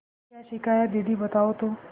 क्या सीखा है दीदी बताओ तो